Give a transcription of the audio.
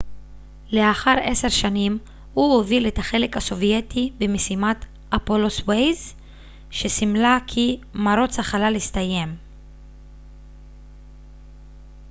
לאחר עשר שנים הוא הוביל את החלק הסובייטי במשימת אפולו-סויוז שסימלה כי מרוץ החלל הסתיים